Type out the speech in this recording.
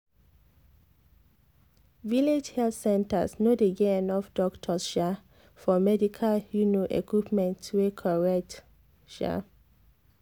village health centers no dey get enough doctors um for medical um equipment wey correct. um